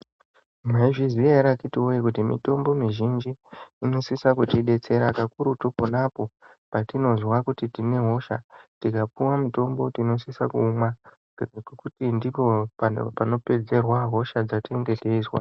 Maizviziva here akiti woyee kuti mitombo mizhinji inosisa kutibetsera pakurutu ponapo patinozwa kuti tine hosha tikapiwe mutombo tinosisa kuumwa ngokuti ndipo panopedzerwa hosha dzatinenge teyizwa.